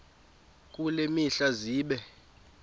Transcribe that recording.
kule mihla zibe